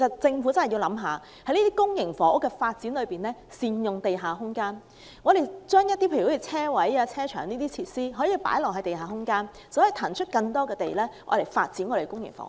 政府在發展公營房屋時應考慮善用地下空間，在地下空間興建停車場等設施，便能騰出更多土地發展公營房屋。